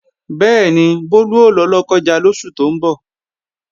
Bẹ́ẹ̀ni, Bólú ó lọ Lọ́kọ́ja lóṣù tó ń bọ̀